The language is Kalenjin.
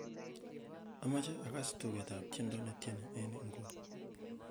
amoje agas tuget ab tiendo netieni en inguni